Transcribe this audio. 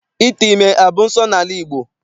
Ite ime abụ nsọala n'ala Igbo?